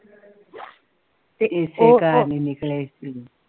ਤੇ ਉਹ ਉਹ ਇਸੇ ਕਾਰਣ ਹੀ ਨਿਕਲੇ ਸੀ